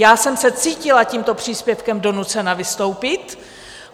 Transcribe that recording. Já jsem se cítila tímto příspěvkem donucena vystoupit.